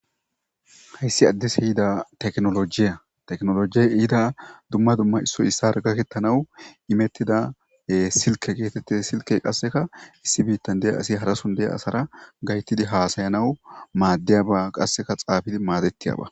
Hays addise yida tekinolojiya , tekinolojen yida dumma dumma issoy issara gaketanawu inetida sileke getetes, silkey qaseka issi bitan de'iya asiy harason de'iya asara gayetid hasayanawu madiyaba, qaseka xafid madetiyaba .